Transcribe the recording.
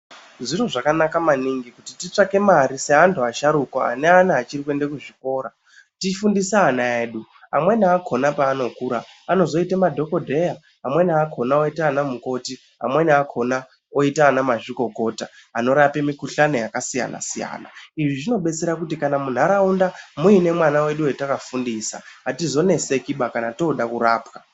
Zviro zvakanaka maningi kuti titsvake mare seantu asharukwa anevana vachiri kuenda kuchikora ,tifundise ana edu amweni akona paanokura anozoita madhokodheya amweni akona aoita anamukoti, amweni akona azoite ana mazvikokota anorapa mikuhlani yakasiyana,_ siyana izvi zvinobetsera kuti kana munharaunda muine mwana wedu watakafundisa atizonetsekiba kana toda kurapwa.